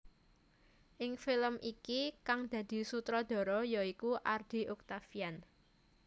Ing film iki kang dadi sutradara ya iku Ardy Octaviand